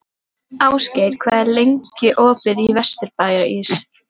Ástgeir, hvað er opið lengi í Vesturbæjarís?